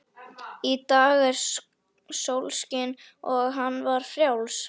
Í dag var sólskin og hann var frjáls.